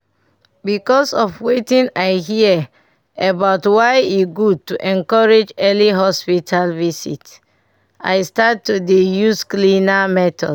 because of wetin i hear about why e good to encourage early hospital visit i start to dey use cleaner methods.